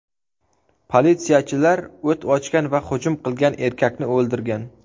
Politsiyachilar o‘t ochgan va hujum qilgan erkakni o‘ldirgan.